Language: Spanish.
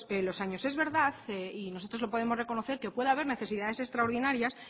los años es verdad y nosotros lo podemos reconocer que puede haber necesidades extraordinarias